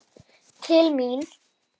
Til mín?